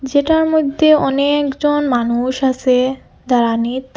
যেটার মইধ্যে অনেকজন মানুষ আসে দাঁড়ানিত্।